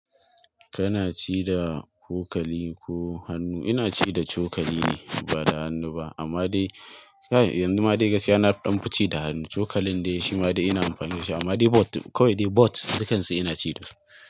Kana ci da cokali ko hannu? Ina ci da cokali ne ba da hannu ba. Amma dai kai yanzu ma dai gaskiya, na danfi ci da da hannu cokalin dai shi ma ina amfani da shi. Amma dai both, kawai dai both dukansu ina ci da su.